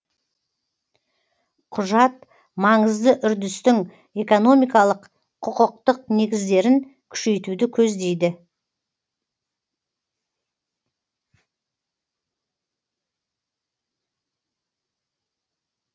құжат маңызды үрдістің экономикалық құқықтық негіздерін күшейтуді көздейді